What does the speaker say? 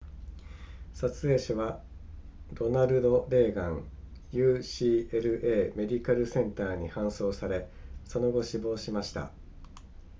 撮影者はロナルドレーガン ucla メディカルセンターに搬送されその後死亡しました